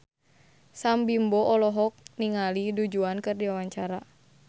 Sam Bimbo olohok ningali Du Juan keur diwawancara